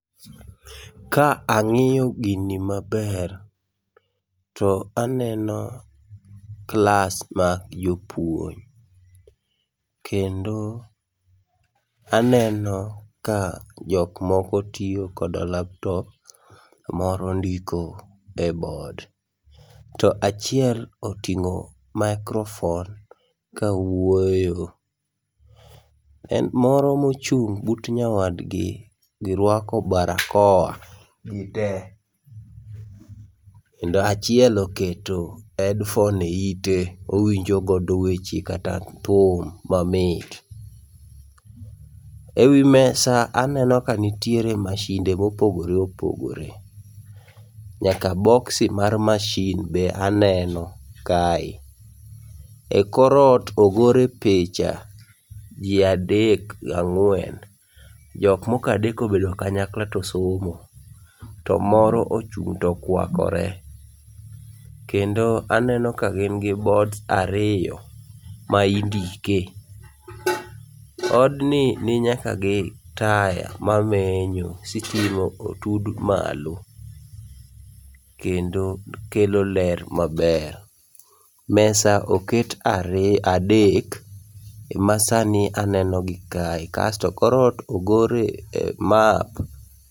Ka ang'iyo gini maber to aneno klas mag jopuony, kendo aneno ka jokmoko tiyo koda laptop, moro ndiko e board. To achiel oting'o makrofon kawuoyo, then moro mochung' but nyawadgi girwako barakoa gitee. Kendo achiel oketo hedfon e ite owinjogodo weche kata thum mamit. Ewi mesa aneno ka nitie mashinde mopogore opogore, nyaka boksi mar mashin be aneno kae. E korot ogore picha ji adek ga ng'wen, jok mokadek obedo kanyakla to somo, to moro ochung' tokwakore. Kendo aneno ka gin gi boards ariyo ma indike. Odni ni nyaka gi taya maneno, sitima otud malo kendo kelo ler maber. Mesa oket ari, adek emasani anenogi kae. Kasto korot ogore map.